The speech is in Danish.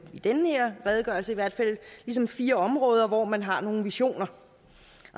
i den her redegørelse ligesom fire områder hvor man har nogle visioner